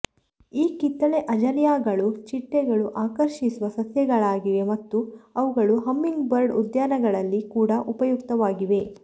ಈ ಕಿತ್ತಳೆ ಅಜೇಲಿಯಾಗಳು ಚಿಟ್ಟೆಗಳು ಆಕರ್ಷಿಸುವ ಸಸ್ಯಗಳಾಗಿವೆ ಮತ್ತು ಅವುಗಳು ಹಮ್ಮಿಂಗ್ಬರ್ಡ್ ಉದ್ಯಾನಗಳಲ್ಲಿ ಕೂಡ ಉಪಯುಕ್ತವಾಗಿವೆ